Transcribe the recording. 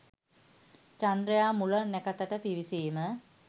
චන්ද්‍රයා මුල නැකතට පිවිසීම